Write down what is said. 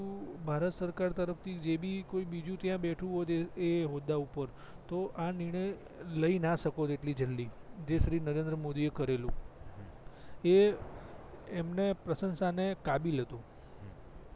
ભારત સરકાર તરફ થી જે બી કોઈ બીજું ત્યાં બેઠું હોત એ હોદ્દા પર તો આ નિર્ણય લય ના શકોત એટલી જલ્દી જે શ્રી નરેન્દ્ર મોદી કરેલું એ અમને પ્રંશસા ને કાબિલ હતું